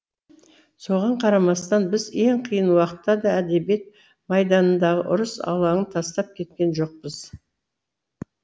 соған қарамастан біз ең қиын уақытта да әдебиет майданындағы ұрыс алаңын тастап кеткен жоқпыз